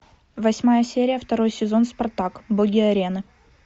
восьмая серия второй сезон спартак боги арены